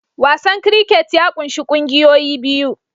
Wasan cricket ya ƙunshi ƙungiyoyi biyu